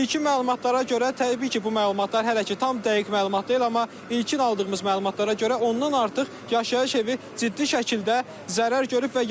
İlkin məlumatlara görə, təbii ki, bu məlumatlar hələ ki tam dəqiq məlumat deyil, amma ilkin aldığımız məlumatlara görə, ondan artıq yaşayış evi ciddi şəkildə zərər görüb.